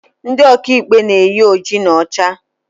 Ndị ọka ikpe na-eyi oji na ọcha